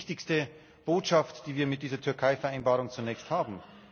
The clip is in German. Das ist die wichtigste Botschaft, die wir mit dieser Türkei Vereinbarung zunächst haben.